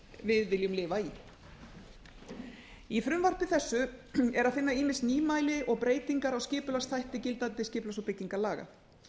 við viljum lifa í í frumvarpi þessu er að finna ýmis nýmæli og breytingar á skipulagsþætti gildandi skipulags og byggingarlaga